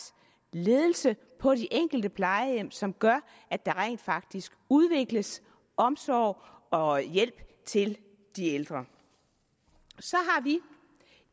ledelse på de enkelte plejehjem som gør at der rent faktisk udvikles omsorg og hjælp til de ældre så har vi